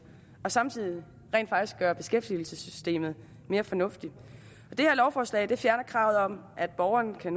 og samtidig rent faktisk gøre beskæftigelsessystemet mere fornuftigt det her lovforslag fjerner kravet om at borgerne